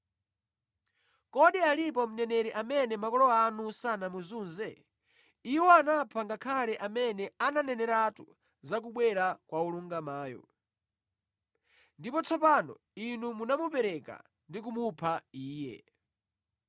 Kodi analipo mneneri amene makolo anu sanamuzunze? Iwo anapha ngakhale amene ananeneratu za kubwera kwa Wolungamayo. Ndipo tsopano inu munamupereka ndi kumupha Iye.